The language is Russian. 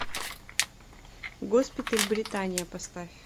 госпиталь британия поставь